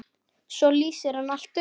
Svo lýsir hann allt upp.